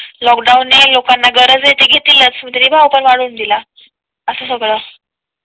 Lockdown ने लोकांना गरज आहे. घेतीलच तरी भाव वाढवून दिला असं सगळे